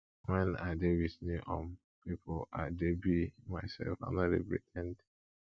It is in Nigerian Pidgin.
wen i dey wit new um pipo i dey be mysef i no dey pre ten d